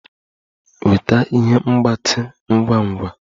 Weta ihe mgbatị ngwa ngwa!